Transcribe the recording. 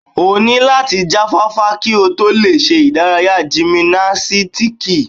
O ní láti jáfáfá kí o tó lè ṣe ìdárayá gìmìnásítíkì.